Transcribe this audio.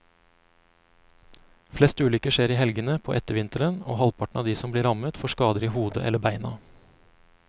Flest ulykker skjer i helgene på ettervinteren, og halvparten av de som blir rammet får skader i hodet eller beina.